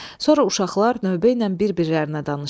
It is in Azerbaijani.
Sonra uşaqlar növbə ilə bir-birilərinə danışdılar.